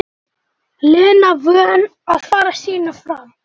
Lena vön að fara sínu fram.